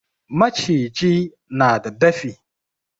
Maciji na da dafi.